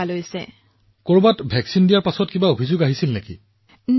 প্ৰধানমন্ত্ৰীঃ কৰবাত প্ৰতিষেধক দিয়াৰ পিছত কোনোবাই অভিযোগ কৰিছিল নেকি পিছত